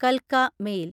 കൽക്ക mail